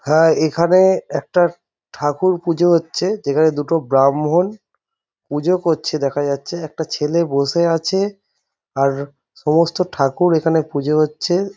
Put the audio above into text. হ্যা এখানে একটা ঠাকুর পূজা হচ্ছে যেখানে দুটো ব্রাহ্মণ পূজো করছে দেখা যাচ্ছে একটা ছেলে বসে আছে আর সমস্ত ঠাকুর এখানে পুজে হচ্ছে।